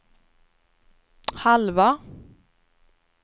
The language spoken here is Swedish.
halva